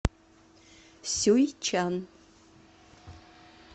сюйчан